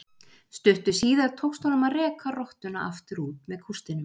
Stuttu síðar tókst honum að reka rottuna aftur út með kústinum.